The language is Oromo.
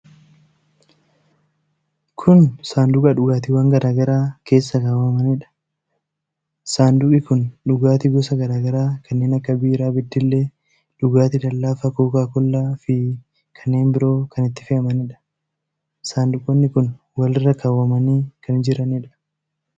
Kun saanduqa dhugaatiwwan garaa garaa keessa kaawwamaniidha. Saanduqi kun dhugaatii gosa garaa garaa kanneen akka biiraa beddellee, dhugaatii lallaafaa Kookaa Kollaa fi kanneen biroo kan itti fe'amanidha. Saanduqoonni kun walirra kaawwamanii kan jiranidha.